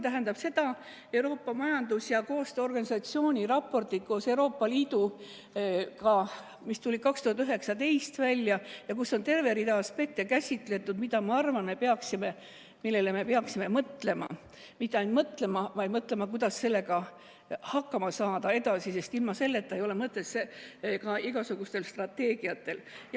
Majandusliku Koostöö ja Arengu Organisatsiooni koos Euroopa Liiduga tehtud raportites, mis tulid välja 2019, on käsitletud tervet rida aspekte, millele, ma arvan, me peaksime mõtlema, ja mitte lihtsalt mõtlema, vaid mõtlema ka, kuidas edasi hakkama saada, sest ilma selleta ei ole igasugustel strateegiatel mõtet.